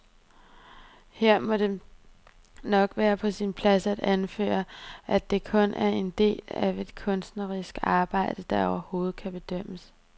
Her må det nok være på sin plads at anføre, at det kun er en del af et kunstnerisk arbejde, der overhovedet kan bedømmes.